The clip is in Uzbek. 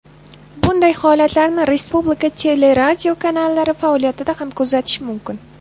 Bunday holatlarni respublika teleradiokanallari faoliyatida ham kuzatish mumkin.